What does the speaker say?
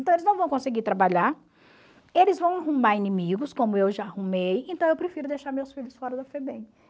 Então eles não vão conseguir trabalhar, eles vão arrumar inimigos, como eu já arrumei, então eu prefiro deixar meus filhos fora da FEBEM.